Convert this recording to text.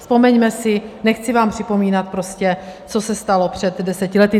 Vzpomeňme si, nechci vám připomínat prostě, co se stalo před deseti lety.